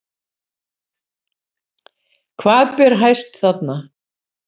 Hvað ber hæst þarna?